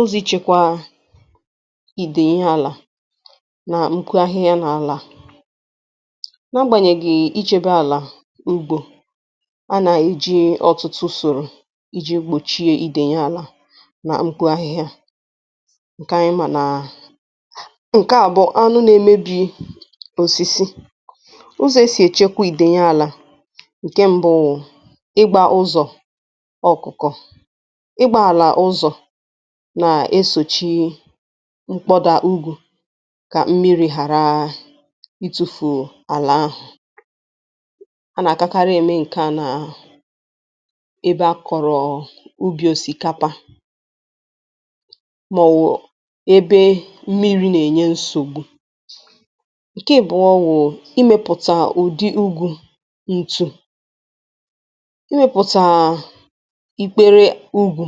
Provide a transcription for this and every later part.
Ụzọ ichekwa ìdèyi ihe àlà nà ùko ihe ahịhịa n’àlà. N’agbànyèghì ìchèbè àlà ugbō, anà-èji ọ̀tụtụ ùsòrò iji gbòchie ìdèyi àlà nà mkpo ahịhịa ǹkè ànyị manaà nà ǹkè à bụ̀ anụ nà-emebi òsìsì. Ụzọ̀ e sì èchekwa ìdèyi àlà. Nke mbụ wụ̀ ịgbȧ ụzọ̀ ọ̀kụ̀kọ̀, ịgbȧ àlà ụzọ̀ nà-esòchi mkpọdà úgwū kà mmiri ghàra itufuù àlà ahù. A nà-àdakarị eme ǹke a nà ebe akọ̀rọọ̀ ubì osikapa màọ̀wụ̀ ebe mmiri̇ nà-ènyé nsògbu. Nke ị̀bụ̀ọ wù imēpùtà ụ̀dị úgū ǹtú, imėpùtà a íkpéré úgwū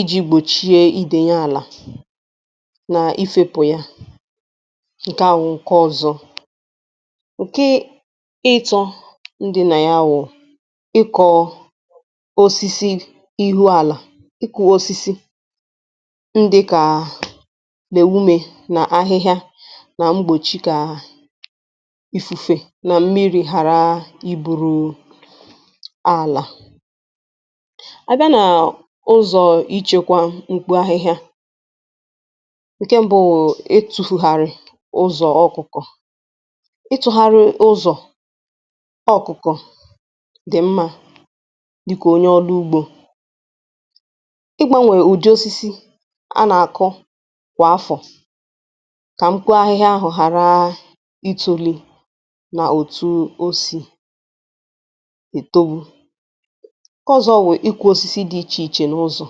iji̇gbòchie idèyi àlà nà ifėpụ̀ ya, nke à wụ̀ ǹke ọzọ. Nke ịịtọ, n dị nà ya wụ̀ ịkọ̀ osisi ihu àlà, ịkọ̇osisi ndị kà a n'ewume nà ahịhịa nà mgbòchi kaà ifùfe nà mmiri̇ ghàra iburù àlà. A bịa naa ụzọ ichekwa mkpo ahịhịa, ǹke m̀bụ wụ̀ itùfùgharị̀ ụzọ̀ ọkụ̀kọ̀, itufugharị ụzọ̀ ọ̀kụ̀kọ̀ dị̀ mmȧ dịkà onye ọrụ ugbo. Igbanwè ụdị osisi a nà-àkụ kwà afọ̀ kà mkpo ahịhịa ahụ̀ ghàra itȯli nà òtù osì ètobu. Nkè ọ̀zọ wụ ikụ osisi dị ichè ichè n’ụzọ̀.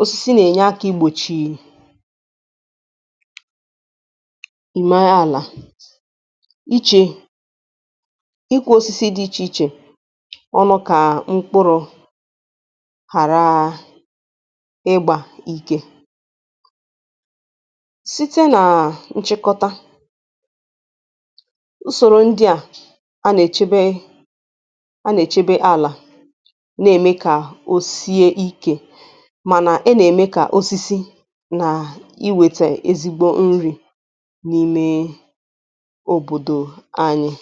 Osisi nà-ènyé aka igbòchii ume ala, ichi ịkụ osisi dị ichè ichè ọnụ kà mkpụrụ̇, ghàraa ịgbȧ ike. Site nà ǹchekọta, usòrò ndị a a nà-èchebe a nà-èchebe àlà nà-ème kà osisi nà iwète ezigbo nri n’imee òbòdò anyị.